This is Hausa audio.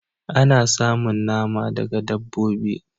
Ana samun nama daga dabbobi